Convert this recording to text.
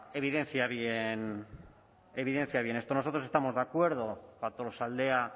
bien en esto nosotros estamos de acuerdo para tolosaldea